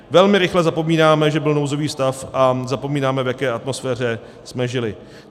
Velmi rychle zapomínáme, že byl nouzový stav, a zapomínáme, v jaké atmosféře jsme žili.